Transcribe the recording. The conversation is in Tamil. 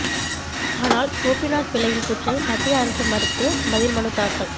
ஆனால் கோபிநாத் பிள்ளையின் கூற்றை மத்திய அரசு மறுத்து பதில் மனு தாக்கல்